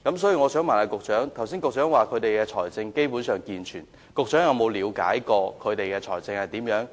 雖然局長剛才說學校的財政基本健全，但局長有否了解過它們的財政狀況？